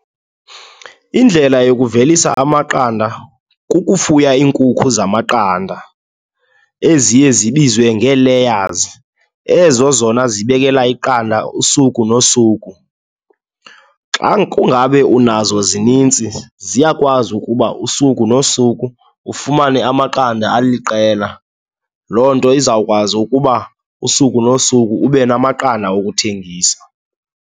Indlela yokuvelisa amaqanda kukufuya iinkukhu zamaqanda eziye zibizwa ngee-layers, ezo zona zibekela iqanda usuku nosuku. Xa kungabe unazo, zinintsi ziyakwazi ukuba usuku nosuku ufumane amaqanda aliqela. Loo nto izawukwazi ukuba usuku nosuku ube namaqanda okuthengisa.